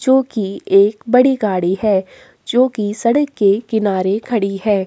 जो की एक बड़ी गाड़ी है जो की सड़क के किनारे खड़ी है।